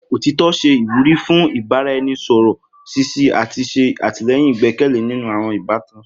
Otitọ ṣe iwuri fun ibaraẹnisọrọ ṣiṣi ati ṣe atilẹyin igbẹkẹle ninu awọn ibatan.